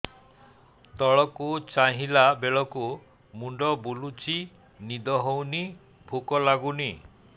ତଳକୁ ଚାହିଁଲା ବେଳକୁ ମୁଣ୍ଡ ବୁଲୁଚି ନିଦ ହଉନି ଭୁକ ଲାଗୁନି